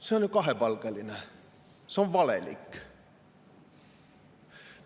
See on kahepalgeline, see on valelik.